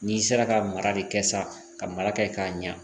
N'i sera ka mara de kɛ sa ka mara ka ɲa